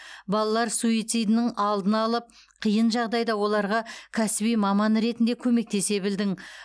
балалар суицидінің алдын алып қиын жағдайда оларға кәсіби маман ретінде көмектесе білдің